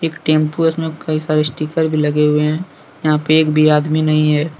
Tempo है इसमें कई सारे स्टीकर भी लगे हुए हैं यहां पर एक भी आदमी नहीं है।